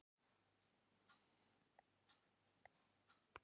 Við leyfðum þeim að loka svæðum með því að spila stutt á milli okkar.